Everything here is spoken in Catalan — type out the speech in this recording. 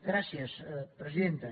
gràcies presidenta